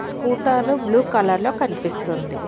స్కూటాలు blue colour లో కనిపిస్తుంది.